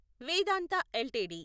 Vedanta LTD